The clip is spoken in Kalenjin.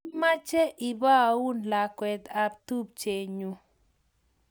Amache ipaun lakwet ap tupchennyu